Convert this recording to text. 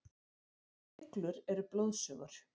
Iglur eru blóðsugur.